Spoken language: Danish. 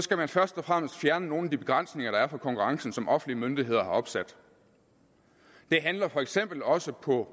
skal man først og fremmest fjerne nogle af de begrænsninger der er for konkurrencen og som offentlige myndigheder har opsat det handler for eksempel også på